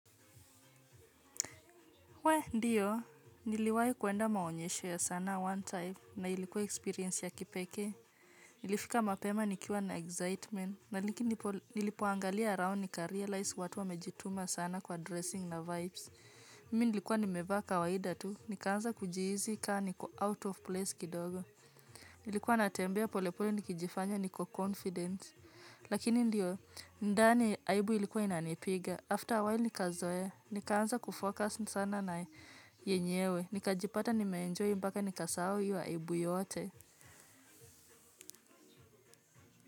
Wee, ndio, niliwahi kuenda maonyesho ya sanaa one time na ilikuwa experience ya kipekee. Nilifika mapema nikiwa na excitement lakini nilipoangalia around nikarealize watu wamejituma sana kwa dressing na vibes. Mimi nilikuwa nimevaa kawaida tu, nikaanza kujihisi kaa niko out of place kidogo. Nilikuwa natembea polepole nikijifanya niko confident. Lakini ndio, ndani aibu ilikuwa inanipiga. After a while nikazoea, nikaanza kufocus sana na yenyewe. Nikajipata nimeenjoy mpaka nikasahau hiyo aibu yote.